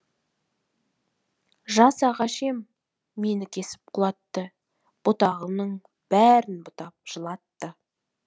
жас ағаш ем мені кесіп құлатты бұтағымның бәрін бұтап жылатты